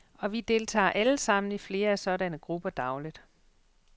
Og vi deltager alle sammen i flere af sådanne grupper dagligt.